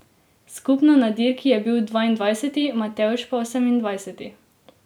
Skupno na dirki je bil dvaindvajseti, Matevž pa osemindvajseti.